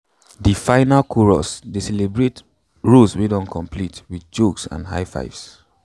de final chorus dey celebrate rows wey don complete wit jokes and high fives